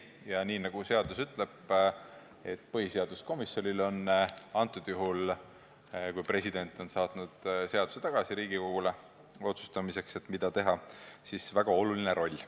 Ja nii nagu seadus ütleb, põhiseaduskomisjonil on juhul, kui president on saatnud seaduse tagasi Riigikogule otsustamiseks, mida teha, väga oluline roll.